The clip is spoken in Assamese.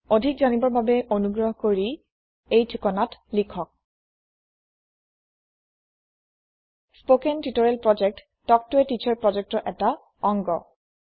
অধিক জানিবৰ বাবে অনুগ্ৰহ কৰি এই ঠিকনাত লিখক spoken hyphen tutorial dot org spoken tutorial project talk ত a টিচাৰ projectৰ এটা অংগ